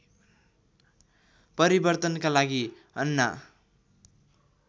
परिवर्तनका लागि अन्ना